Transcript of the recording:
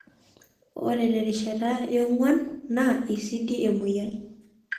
ore terishata yong'wan naa eisidi emoyian.